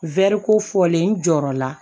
Wɛri kofɔlen n jɔrɔ la